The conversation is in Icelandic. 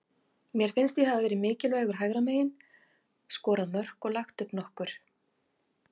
Mér finnst ég hafa verið mikilvægur hægra megin, skorað mörk og lagt upp nokkur.